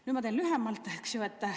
Nüüd ma teen lühemalt, eks ju.